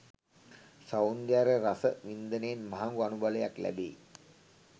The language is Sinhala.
සෞන්දර්යය රස වින්දනයෙන් මහඟු අනුබලයක් ලැබෙයි.